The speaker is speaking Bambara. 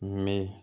Mɛ